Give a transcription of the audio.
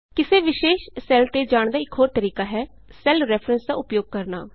ਕਿਸੇ ਵਿਸ਼ੇਸ਼ ਸੈੱਲ ਤੇ ਜਾਣ ਦਾ ਇਕ ਹੋਰ ਤਰੀਕਾ ਹੈ ਸੈੱਲ ਰੈਫਰੈਂਸ ਦਾ ਉਪਯੋਗ ਕਰਨਾ